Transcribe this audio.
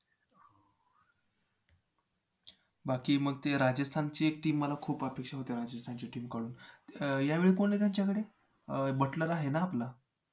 तो श्रीमंत माणूस या गोष्टी जाणवत नव्हे एके दिवशी जेव्हा आणि लपवलेली सर्व श्रीमंती चोरीला गेली तेव्हा ते दुःखी होऊन रडू लागला.